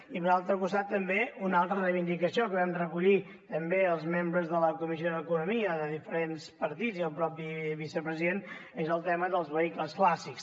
i per altre costat també una altra reivindicació que vam recollir també els membres de la comissió d’economia de diferents partits i el mateix vicepresident que és el tema dels vehicles clàssics